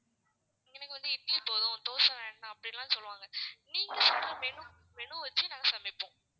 எனக்கு வந்து இட்லி போதும் தோசை வேண்டாம் அப்படில்லாம் சொல்லுவாங்க. நீங்க சொல்ற menu வச்சி நாங்க சமைப்போம்.